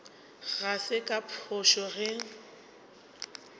ga se ka phošo ge